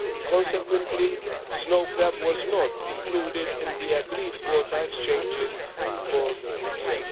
Consequently snow crab was not included in the agreed quota exchanges for this year